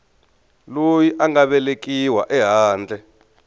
loyi a nga velekiwa ehandle